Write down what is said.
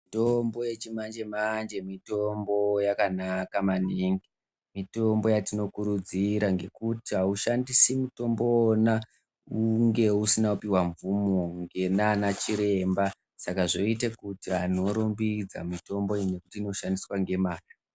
Mitombo yechimanje manje mitombo yakanaka maningi. Mitombo yatinokurudzira ngokuti aushandisi mutombo wona unge usina kupiwa mvumo nana chiremba saka zvoite kurumbidza kuti mitombo iyi iri kushandiswa nemazvo.